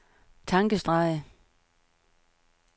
tankestreg